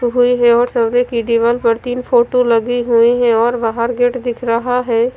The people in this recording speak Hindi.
हुई है और सामने की दीवाल पर तीन फोटो लगी हुई है और बाहर गेट दिख रहा है।